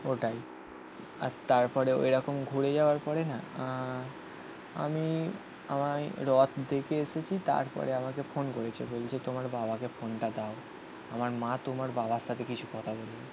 ওটাই আর তারপরেও এরকম ঘুরে যাওয়ার পরে না আহ আমি আমায় রথ দেখে এসেছি তারপরে আমাকে ফোন করেছে বলছে তোমার বাবাকে ফোনটা দাও. আমার মা তোমার বাবার সাথে কিছু কথা বলবে.